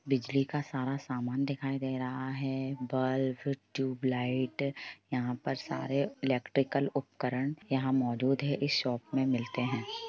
बिजली का सारा सामान दिखाई दे रहा है बल्ब ट्यूबलाइट यहा पर सारे इलेक्ट्रिकल उपकरण यहाँ मौजूद हैं इस शॉप में मिलते हैं।